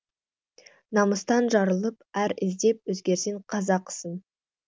намыстан жарылып ар іздеп өзгерсең қазақсың